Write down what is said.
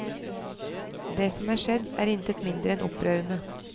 Det som er skjedd, er intet mindre enn opprørende.